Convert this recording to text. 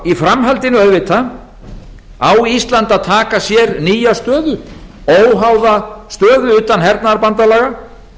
í framhaldinu auðvitað á ísland að taka sér nýja stöðu óháða stöðu utan hernaðarbandalaga